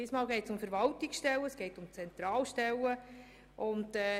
Diesmal geht es um Stellen in der Zentralverwaltung.